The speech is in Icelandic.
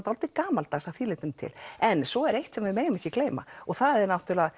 dálítið gamaldags að því leytinu til en svo er eitt sem við megum ekki gleyma og það er